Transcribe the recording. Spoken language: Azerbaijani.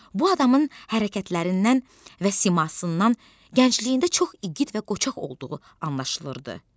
Bu adamın hərəkətlərindən və simasından gəncliyində çox igid və qoçaq olduğu anlaşılırdı.